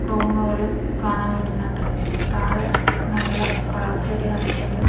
റൂമുകൾ കാണാൻ പറ്റുന്നുണ്ട് താഴെ നല്ല കളർ ചെടി നട്ടിട്ടുണ്ട്.